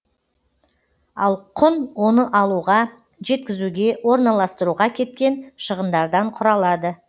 ал құн оны алуға жеткізуге орналастыруға кеткен шығындардан құралады